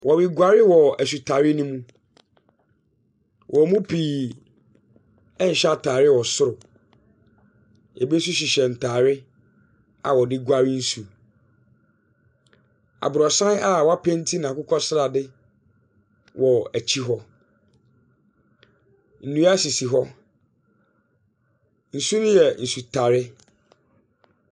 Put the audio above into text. Wɔreguare wɔ asutare no mu. Wɔn mu pii nhyɛ atare wɔ soro. Ebi nso hyehyɛ ntare a wɔde guare nsum. Aborosan a wɔapenti no akokɔ srade wɔ akyi hɔ. Nnua sisi hɔ. Nsu no yɛ asutare.